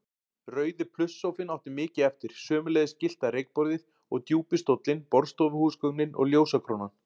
Rauði plusssófinn átti mikið eftir, sömuleiðis gyllta reykborðið og djúpi stóllinn, borðstofuhúsgögnin og ljósakrónan.